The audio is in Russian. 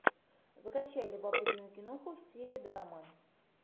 закачай любопытную киноху в стиле драмы